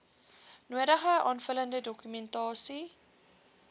nodige aanvullende dokumentasie